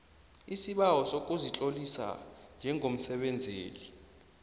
isibawo sokuzitlolisa njengomsebenzeli